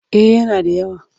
Eh yana da yawa.